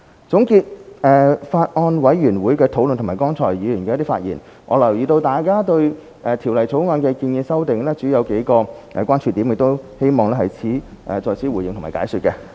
總結法案委員會的討論和剛才議員的發言，我留意到大家對《條例草案》的建議修訂，主要有數個關注點，我希望在此回應和解說。